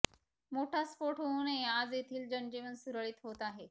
मोठा स्फोट होऊनही आज येथील जनजीवन सुरळीत होत आहे